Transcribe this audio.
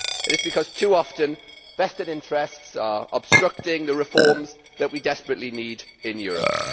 It is because too often vested interests are obstructing the reforms that we desperately need in Europe.